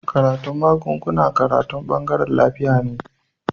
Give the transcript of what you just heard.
Karatun magunguna karatu bangaren lafiya ne